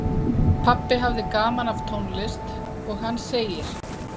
Pabbi hafði gaman af tónlist og hann segir